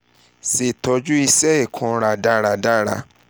ṣetọju isẹ ikunra daradara